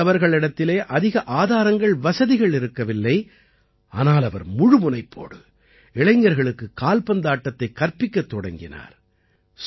ரயீஸ் அவர்களிடத்திலே அதிக ஆதாரங்கள்வசதிகள் இருக்கவில்லை ஆனால் அவர் முழு முனைப்போடு இளைஞர்களுக்கு கால்பந்தாட்டத்தைக் கற்பிக்கத் தொடங்கினார்